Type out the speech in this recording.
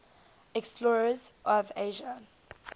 explorers of asia